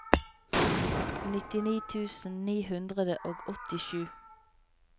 nittini tusen ni hundre og åttisju